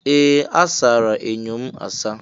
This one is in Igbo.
Ee! A sara enyo anya m asa.